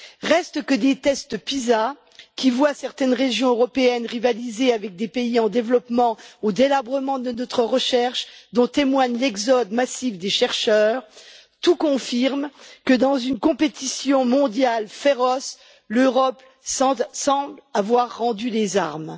Reste que des tests Pisa, qui voient certaines régions européennes rivaliser avec des pays en développement, au délabrement de notre recherche, dont témoigne l'exode massif des chercheurs, tout confirme que, dans une concurrence mondiale féroce, l'Europe semble avoir rendu les armes.